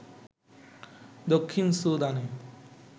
দক্ষিণ সুদানে